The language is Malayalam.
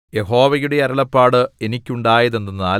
യഹോവയുടെ അരുളപ്പാട് എനിക്കുണ്ടായതെന്തെന്നാൽ